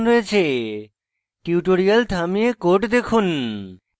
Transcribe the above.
tutorial থামিয়ে code লিখুন